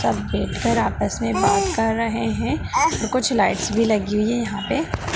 सब बेठ कर आपस में बात कर रहे हैं और कुछ लाइट्स भी लगी हुई हैं यहाँ पे।